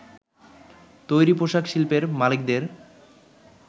তৈরি পোশাক শিল্পের মালিকদের